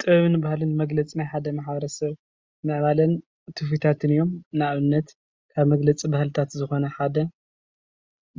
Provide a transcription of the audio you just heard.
ጥበብን ባህሊን መግለፂ ናይ ሓደ ማሕበረ ሰብ ምዕባለን ትውፊታትን እዮም፡፡ ንአብነት፡- ካብ መግለፂ ባህሊታት ዝኾነ ሓደ